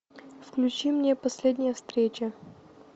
включи мне последняя встреча